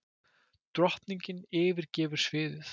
Drottningin yfirgefur sviðið